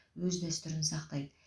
өз дәстүрін сақтайды